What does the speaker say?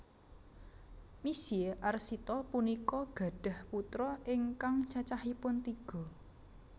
Misye Arsita punika gadhah putra ingkang cacahipun tiga